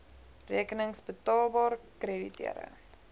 rekenings betaalbaar krediteure